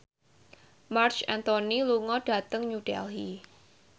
Marc Anthony lunga dhateng New Delhi